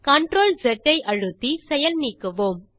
CTRL S ஐ அழுத்தி செயல் நீக்குவோம்